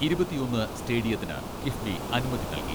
ഇരുപത്തിയൊന്ന് സ്റ്റേഡിയത്തിന് കിഫ്ബി അനുമതി നൽകി.